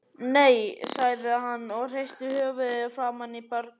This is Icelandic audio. Nei, sagði hann og hristi höfuðið framan í börnin.